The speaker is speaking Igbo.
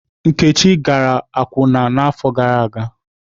Nkechi gara akwụna n'afọ gara aga.